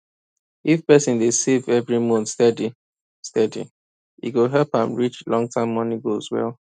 if person dey save every month steady steady e go help am reach longterm money goals well